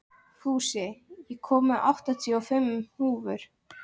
Fúsi, ég kom með áttatíu og fimm húfur!